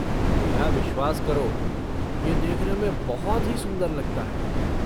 मेरा विश्वास करो, ये देखने में बहुत ही सुंदर लगता है।